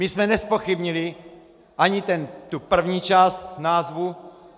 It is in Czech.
My jsme nezpochybnili ani tu první část názvu.